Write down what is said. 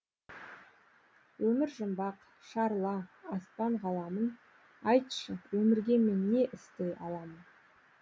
өмір жұмбақ шарла аспан ғаламын айтшы өмірге мен не істей аламын